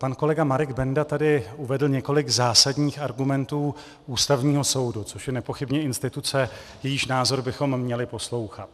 Pan kolega Marek Benda tady uvedl několik zásadních argumentů Ústavního soudu, což je nepochybně instituce, jejíž názory bychom měli poslouchat.